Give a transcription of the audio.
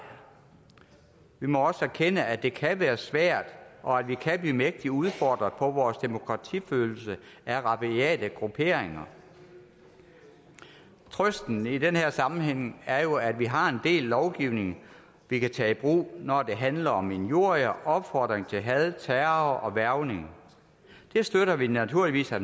vi må også erkende at det kan være svært og at vi kan blive mægtig udfordret på vores demokratifølelse af rabiate grupperinger trøsten i den her sammenhæng er jo at vi har en del lovgivning vi kan tage i brug når det handler om injurier opfordring til had terror og hvervning den støtter vi naturligvis at